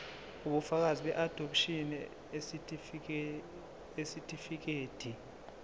ubufakazi beadopshini isitifikedi